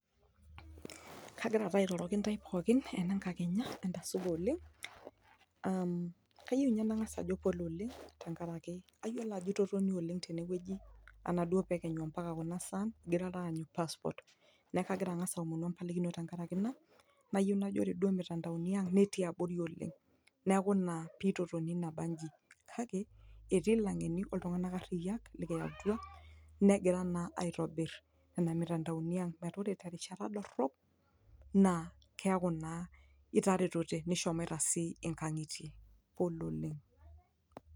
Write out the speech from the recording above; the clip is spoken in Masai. kagira taa airoroki ntae pookin enenkakenya entasupa oleng uhm kayieu ninye nang'as ajo [cspole oleng tenkarake ayiolo ajo itotonio oleng tenewueji anaduo pekenyu ampaka kuna sain ingirara aanyu passport neeku kagira ang'as aomonu empalikino tenkarake ina nayieu najo ore duo imitandaoni ang netii abori oleng neeku ina pitotoni nabanji kake etii ilang'eni oltung'anak ariyiak likiyautua negira naa aitobir nena mitandaoni ang metaa ore terishata dorrop naa keeku naa itaretote nishomaita sii inkang'itie pole oleng.